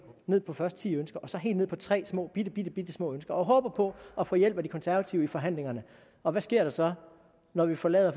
ned på først ti ønsker og så helt ned på tre bittebittesmå ønsker og håber på at få hjælp af de konservative i forhandlingerne og hvad sker der så når vi forlader